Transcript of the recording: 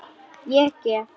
Ég gef.